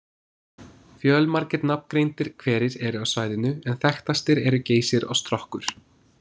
Fjömargir nafngreindir hverir eru á svæðinu en þekktastir eru Geysir og Strokkur.